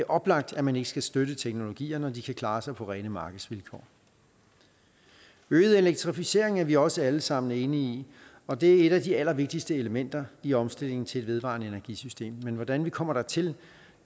oplagt at man ikke skal støtte teknologier når de kan klare sig på rene markedsvilkår øget elektrificering er vi også alle sammen enige i og det er et af de allervigtigste elementer i omstillingen til et vedvarende energi system men hvordan vi kommer dertil